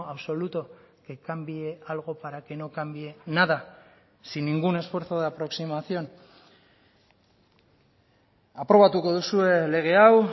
absoluto que cambie algo para que no cambie nada sin ningún esfuerzo de aproximación aprobatuko duzue lege hau